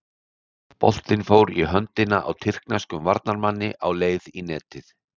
Boltinn fór í höndina á tyrkneskum varnarmanni á leið í netið.